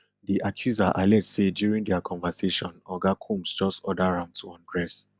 di accuser allege say during dia conversation oga combs just order am to undress